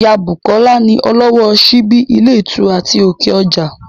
Ìyá Bùkọ́lá ni ọlọ́wọ́ ọ síbí ilé ìtura ti òkè ọjà